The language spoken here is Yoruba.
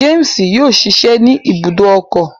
James yóò ṣiṣẹ ni ibùdó ọkọ